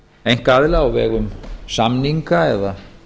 einkaaðila á vegum samninga eða